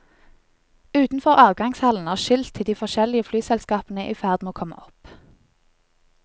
Utenfor avgangshallen er skilt til de forskjellige flyselskapene i ferd med å komme opp.